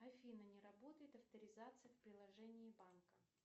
афина не работает авторизация в приложении банка